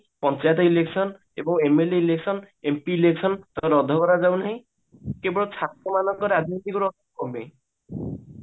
panchayat election ଏବଂMLA election MP ଧରା ଯାଉନାହିଁ କେବଳ ଛାତ୍ର ମାନଙ୍କର ରାଜନୈତିକ